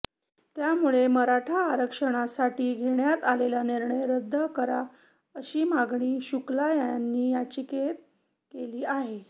त्यामुळे मराठा आरक्षणासाठी घेण्यात आलेला निर्णय रद्द करा अशी मागणी शुक्ला यांनी याचिकेत केली आहे